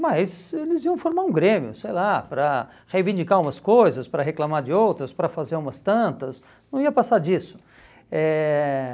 mas eles iam formar um grêmio, sei lá, para reivindicar umas coisas, para reclamar de outras, para fazer umas tantas, não ia passar disso. Eh